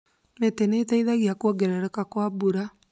Mĩtĩ nĩ ĩteithagĩrĩria kuongerereka kwa mbura.